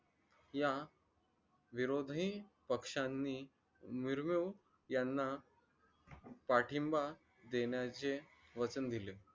या विरोधी पक्षांनी मुर्मू यांना पाठिंबा देण्याचे वचन दिले